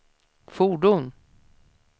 fordon